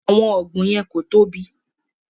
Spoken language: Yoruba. Àwọn ọgbùn yẹn ko tóbi.